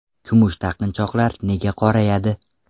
Kumush taqinchoqlar nega qorayadi?.